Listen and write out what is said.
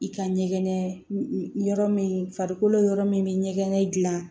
I ka ɲɛgɛn yɔrɔ min farikolo yɔrɔ min bɛ ɲɛgɛn gilan